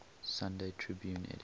sunday tribune editor